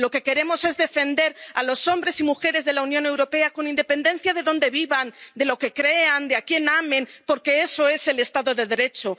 Lo que queremos es defender a los hombres y mujeres de la Unión Europea con independencia de donde vivan, de lo que crean, de a quien amen, porque eso es el Estado de Derecho.